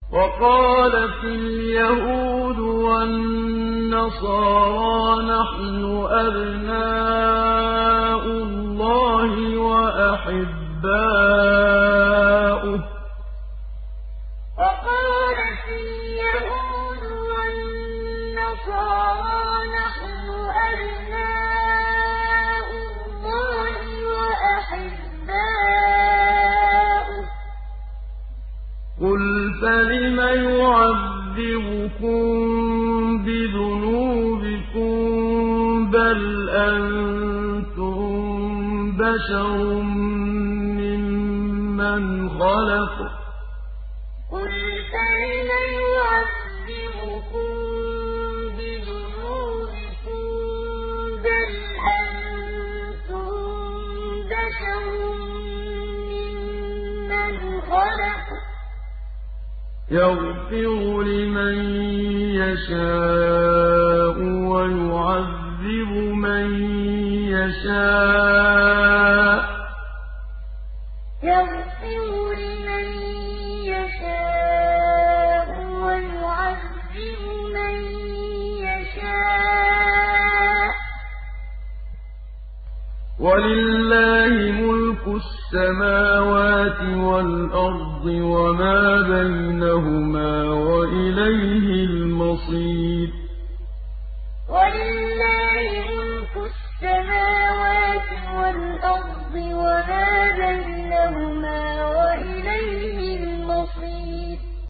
وَقَالَتِ الْيَهُودُ وَالنَّصَارَىٰ نَحْنُ أَبْنَاءُ اللَّهِ وَأَحِبَّاؤُهُ ۚ قُلْ فَلِمَ يُعَذِّبُكُم بِذُنُوبِكُم ۖ بَلْ أَنتُم بَشَرٌ مِّمَّنْ خَلَقَ ۚ يَغْفِرُ لِمَن يَشَاءُ وَيُعَذِّبُ مَن يَشَاءُ ۚ وَلِلَّهِ مُلْكُ السَّمَاوَاتِ وَالْأَرْضِ وَمَا بَيْنَهُمَا ۖ وَإِلَيْهِ الْمَصِيرُ وَقَالَتِ الْيَهُودُ وَالنَّصَارَىٰ نَحْنُ أَبْنَاءُ اللَّهِ وَأَحِبَّاؤُهُ ۚ قُلْ فَلِمَ يُعَذِّبُكُم بِذُنُوبِكُم ۖ بَلْ أَنتُم بَشَرٌ مِّمَّنْ خَلَقَ ۚ يَغْفِرُ لِمَن يَشَاءُ وَيُعَذِّبُ مَن يَشَاءُ ۚ وَلِلَّهِ مُلْكُ السَّمَاوَاتِ وَالْأَرْضِ وَمَا بَيْنَهُمَا ۖ وَإِلَيْهِ الْمَصِيرُ